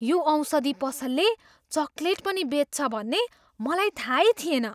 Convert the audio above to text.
यो औषधि पसलले चकलेट पनि बेच्छ भन्ने मलाई थाहै थिएन!